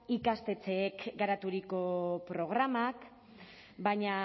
ikastetxeek garaturiko programak baina